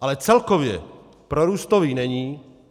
Ale celkově prorůstový není.